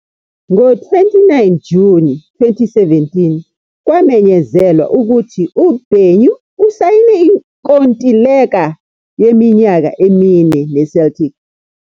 Ngo-29 Juni 2017, kwamenyezelwa ukuthi uBenyu usayine inkontileka yeminyaka emine neCeltic.